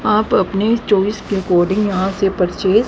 आप अपनी चोइस के एकॉर्डिंग यहां से परचेज --